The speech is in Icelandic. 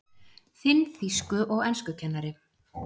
Þinn þýsku- og enskukennari